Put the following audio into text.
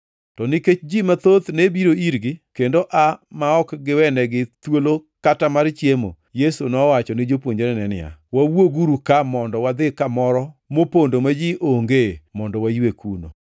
To nikech ji mathoth ne biro irgi kendo aa ma ok giwenegi thuolo kata mar chiemo, Yesu nowacho ni jopuonjrene niya, “Wawuoguru ka mondo wadhi kamoro mopondo ma ji ongee mondo waywe kuno.”